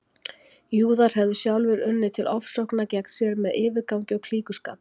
Júðar hefðu sjálfir unnið til ofsókna gegn sér með yfirgangi og klíkuskap.